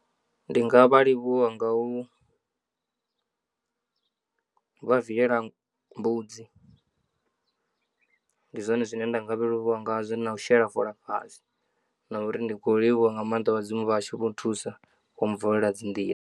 Ndi nga vha livhuwa nga u vha viela mbudzi ndi zwone zwine nda nga vha livhuwa ngazwo na u shela fola fhasi na uri ndi khou livhuwa nga maanḓa vhadzimu vha vhashu vho thusa vho vulela dzi nḓila.